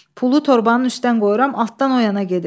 Pulu torbanın üstdən qoyuram, altdan o yana gedir.